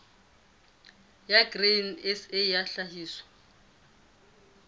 ya grain sa ya tlhahiso